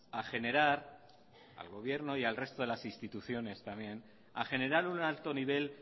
a generar al gobierno y al resto de las instituciones también a generar un alto nivel